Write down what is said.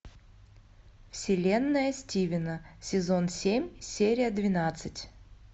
вселенная стивена сезон семь серия двенадцать